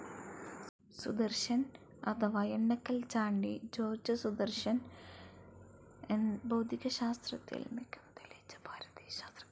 സുദർശൻ അഥവാ എണ്ണക്കൽ ചാണ്ടി ജോർജ് സുദർശൻ ഭൗതികശാസ്ത്രത്തിൽ മികവ് തെളിയിച്ച ഭാരതീയ ശാസ്ത്രജ്ഞനായിരുന്നു.